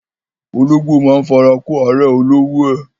Ológbò máa ń fara kó árẹ̀ olówó ẹ.